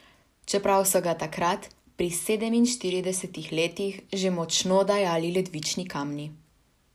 Čeprav so ga takrat, pri sedeminštiridesetih letih, že močno dajali ledvični kamni.